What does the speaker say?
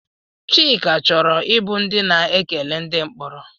Chika chọrọ ịbụ ndị na-ekele ndị mkporo?